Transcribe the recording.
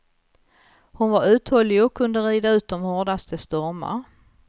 Hon var uthållig och kunde rida ut de hårdaste stormar.